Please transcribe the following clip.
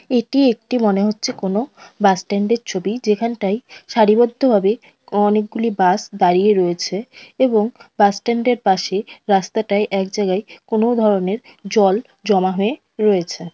এটি একটি মনে হচ্ছে কোনো বাস স্ট্যান্ড -এর ছবি যেখানটায় সারিবদ্ধ ভাবে অনেকগুলি বাস দাঁড়িয়ে রয়েছে এবং বাস স্ট্যান্ড -এর পাশে রাস্তাটায় একজাগায় কোনো ধরনের জল জমা হয়ে রয়েছে।